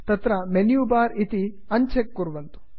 तत्र menu bar इति uncheck कुर्वन्तु